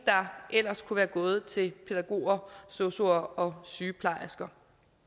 der ellers kunne være gået til pædagoger sosuer og sygeplejersker